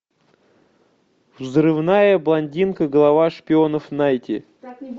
взрывная блондинка глава шпионов найти